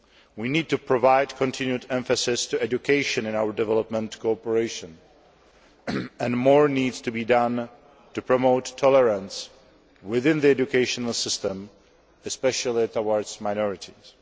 We need to provide continued emphasis on education in our development cooperation and more needs to be done to promote tolerance within the educational system, especially towards minorities.